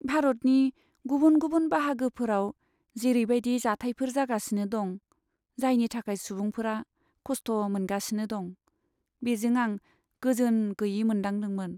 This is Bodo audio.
भारतनि गुबुन गुबुन बाहागोफोराव जेरै बायदि जाथायफोर जागासिनो दं, जायनि थाखाय सुबुंफोरा खस्थ मोनगासिनो दं, बेजों आं गोजोन गैयै मोनदांदोंमोन।